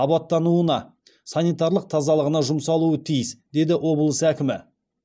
абаттануына санитарлық тазалығына жұмсалуы тиіс деді облыс әкімі